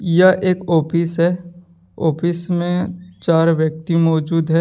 यह एक आफिस है आफिस में चार व्यक्ति मौजूद हैं।